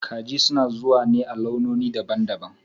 Kaji suna zuwa ne a launoni daban-daban